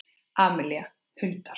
Amelía: Hundar.